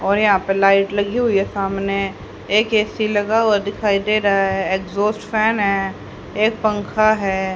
और यहां पर लाइट लगी हुई है सामने एक ए_सी लगा हुआ दिखाई दे रहा है एग्जॉस्ट फैन है एक पंखा है।